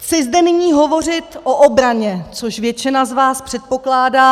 Chci zde nyní hovořit o obraně, což většina z vás předpokládá.